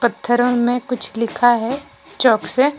पत्थरों में कुछ लिखा है चॉक से।